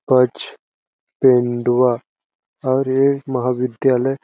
कुछ पेंडुआ और ये महाविद्यालय--